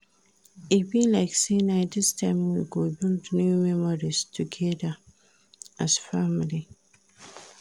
E be like sey na dis time we go build new memories togeda as family.